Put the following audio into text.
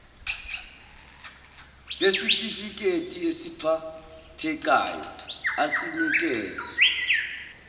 ngesitifiketi esiphathekayo asinikezwa